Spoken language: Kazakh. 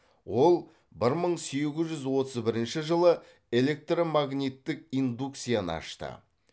ол бір мың сегіз жүз отыз бірінші жылы электромагниттік индукцияны ашты